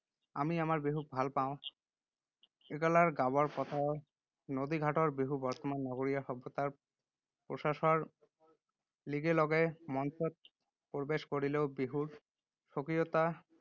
আমি আমাৰ বিহুক ভাল পাওঁ। একালৰ গাঁৱৰ পথাৰৰ, নদীঘাটৰ বিহু বৰ্তমান নগৰীয়া সভ্যতাৰ প্ৰসাৰৰ লিগে লগে মঞ্চত প্ৰৱেশ কৰিলেও বিহুৰ স্বকীয়তা